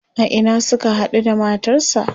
a Ina Suka haɗu da matarsa?